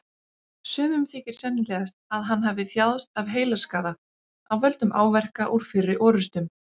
Sumum þykir sennilegt að hann hafi þjáðst af heilaskaða af völdum áverka úr fyrri orrustum.